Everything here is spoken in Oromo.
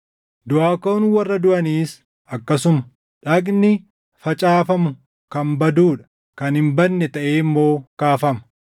Duʼaa kaʼuun warra duʼaniis akkasuma. Dhagni facaafamu kan baduu dha; kan hin badne taʼee immoo kaafama.